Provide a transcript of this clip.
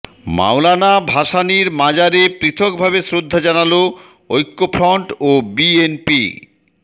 মওলানা ভাসানীর মাজারে পৃথকভাবে শ্রদ্ধা জানালো ঐক্যফ্রন্ট ও বিএনপি